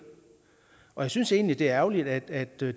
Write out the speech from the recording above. og jeg synes egentlig det er ærgerligt at det